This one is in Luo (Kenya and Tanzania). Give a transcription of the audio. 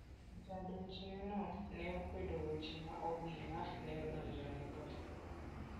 Jadonjneno ne okwedo weche ma obila ne odonjonego.